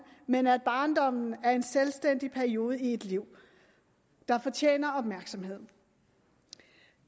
men at barndommen er en selvstændig periode i et liv der fortjener opmærksomhed